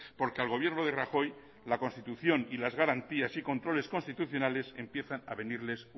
porque al gobierno de rajoy la constitución y las garantías y controles constitucionales empiezan a venirles